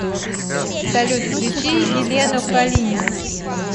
салют включи елену калинину